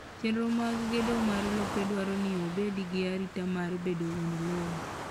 Chenro mag gedo mag lope dwaro ni obed gi arita mar bedo wuon lowo.